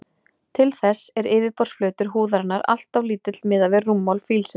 Til þess er yfirborðsflötur húðarinnar alltof lítill miðað við rúmmál fílsins.